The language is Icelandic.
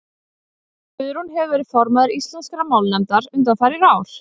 guðrún hefur verið formaður íslenskrar málnefndar undanfarin ár